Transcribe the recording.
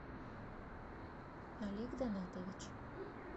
олег данатович